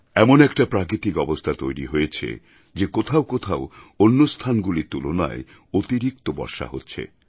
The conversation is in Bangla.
এমন একটা প্রাকৃতিক অবস্থা তৈরি হয়েছে যে কোথাও কোথাও অন্য স্থানগুলির তুলনায় অতিরিক্ত বর্ষা হচ্ছে